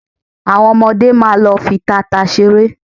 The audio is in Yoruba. Àwọn ọmọdé máa lọ fi tata ṣeré